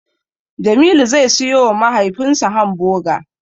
Jamilu zai siyowa mahaifinsa Hamboga.